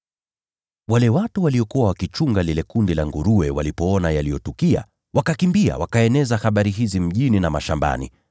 Wale watu waliokuwa wakichunga lile kundi la nguruwe walipoona yaliyotukia, wakakimbia, wakaeneza habari hizi mjini na mashambani.